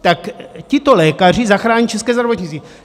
Tak tito lékaři zachrání české zdravotnictví.